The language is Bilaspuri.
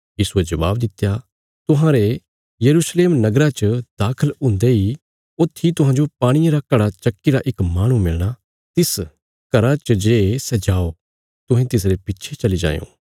यीशुये जबाब दित्या तुहांरे यरूशलेम च दाखल हुन्दे इ ऊत्थी तुहांजो पाणिये रा घड़ा चक्कीरा इक माहणु मिलणा तिस घरा च जे सै जाओ तुहें तिसरे पिच्छे चली जायों